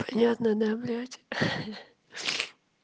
понятно да блять